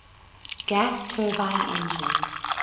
gas turbine engines